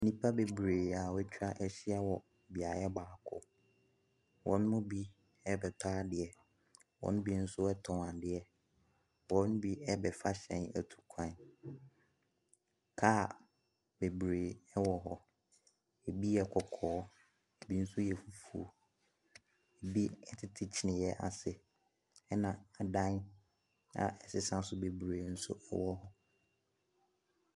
Nnipa bebiree a wɔatwa ahyia wɔ beaeɛ baako. Wɔn mu bi rebɛtɔ adeɛ, wɔn mu bi nso tɔn adeɛ, wɔn mu bi rebɛfa hyɛn atu kwan. Car bebiree wɔ hɔ. Ebi yɛ kɔkɔɔ ebi nso yɛ fufuo. Ebi tete kyinniiɛ ase. ℇna adan a ɛsesa so bebiree nso wɔ hɔ.